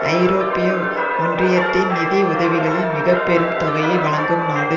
ஐரோப்பிய ஒன்றியத்தின் நிதி உதவிகளில் மிக பெரும் தொகையை வழங்கும் நாடு